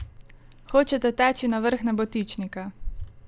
Hočete teči na vrh nebotičnika?